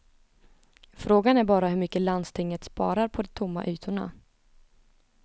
Frågan är bara hur mycket landstinget sparar på de tomma ytorna.